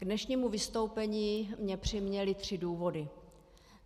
K dnešnímu vystoupení mě přiměly tři důvody.